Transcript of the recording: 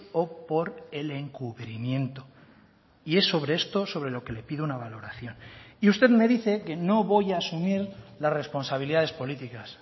o por el encubrimiento y es sobre esto sobre lo que le pido una valoración y usted me dice que no voy a asumir las responsabilidades políticas